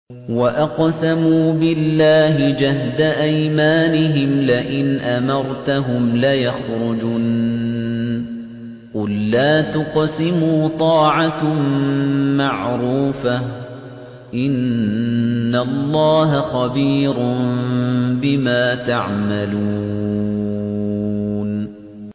۞ وَأَقْسَمُوا بِاللَّهِ جَهْدَ أَيْمَانِهِمْ لَئِنْ أَمَرْتَهُمْ لَيَخْرُجُنَّ ۖ قُل لَّا تُقْسِمُوا ۖ طَاعَةٌ مَّعْرُوفَةٌ ۚ إِنَّ اللَّهَ خَبِيرٌ بِمَا تَعْمَلُونَ